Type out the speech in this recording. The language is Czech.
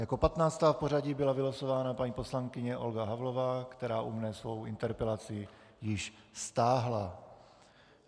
Jako 15. v pořadí byla vylosována paní poslankyně Olga Havlová, která u mne svou interpelaci již stáhla.